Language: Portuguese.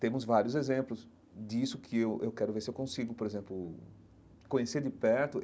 Temos vários exemplos disso que eu eu quero ver se eu consigo, por exemplo, conhecer de perto.